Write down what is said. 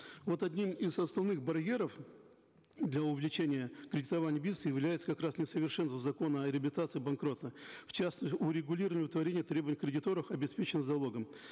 вот одним из основных барьеров для увеличения кредитования бизнеса являются как раз несовершенства закона о реабилитации и банкротстве в частности урегулирование удовлетворения требований кредиторов обеспеченных залогом